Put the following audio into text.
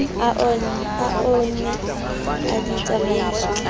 a oona a ditsamaiso ka